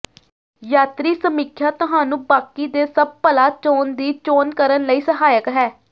ਯਾਤਰੀ ਸਮੀਖਿਆ ਤੁਹਾਨੂੰ ਬਾਕੀ ਦੇ ਸਭ ਭਲਾ ਚੋਣ ਦੀ ਚੋਣ ਕਰਨ ਲਈ ਸਹਾਇਕ ਹੈ